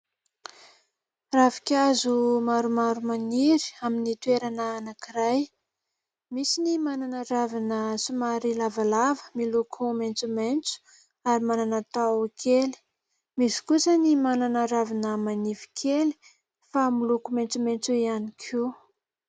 Ravinkazo maromaro maniry amin'ny toerana anankiray. Misy ny manana ravina somary lavalava miloko maitsomaitso ary manana taho kely. Misy kosa ny manana ravina manify kely fa miloko maitsomaitso ihany koa.